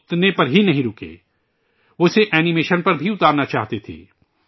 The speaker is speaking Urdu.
اور وہ اتنے پر ہی نہیں رکے ، وہ اسے اینی میشن پر بھی اتارنا چاہتے تھے